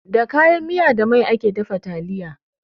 Da kayan miya da mai ake dafa taliya.